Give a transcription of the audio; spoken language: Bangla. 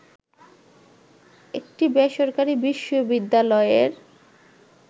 একটি বেসরকারি বিশ্ববিদ্যালয়ের